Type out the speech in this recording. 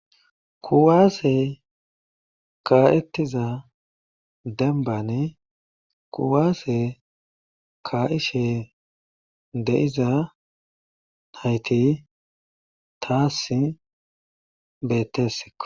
Kuwase ka'etiza dembani kuwase ka'iza nayti taasi beetesikko.